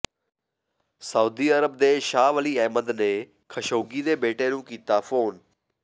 Saudi Arab ਦੇ ਸ਼ਾਹ ਵਲੀ ਅਹਿਦ ਨੇ ਖਸ਼ੋਗੀ ਦੇ ਬੇਟੇ ਨੂੰ ਕੀਤਾ ਫੋਨ